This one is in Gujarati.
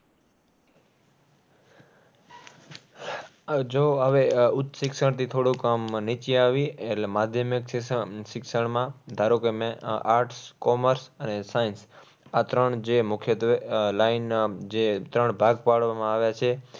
આહ જો હવે ઉચ્ચ શિક્ષણથી થોડુંક આમ નીચું આવીએ. એટલે માધ્યમિક શિક્ષણ, શિક્ષણમાં, ધારો કે, મેં આહ arts, commerce, અને science આ ત્રણ જે મુખ્યત્વે આહ line આહ જે ત્રણ ભાગ પાડવામાં આવ્યા છે.